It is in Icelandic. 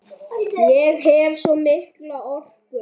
Ég hef svo mikla orku.